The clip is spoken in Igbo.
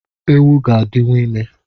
Ewu ga-adịwu ime